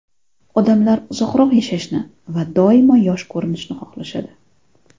Odamlar uzoqroq yashashni va doimo yosh ko‘rinishni xohlashadi.